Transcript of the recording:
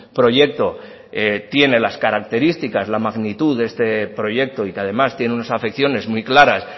proyecto tiene las características la magnitud de esta proyecto y que además tiene unas afecciones muy claras